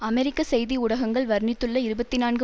அமெரிக்க செய்தி ஊடகங்கள் வர்ணித்துள்ள இருபத்தி நான்கு